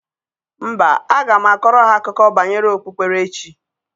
Mba, aga m akọrọ ha akụkọ banyere okpukperechi.